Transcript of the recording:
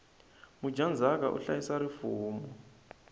mudyandzaka u hlayisa rifumo